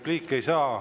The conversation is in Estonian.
Repliiki ei saa.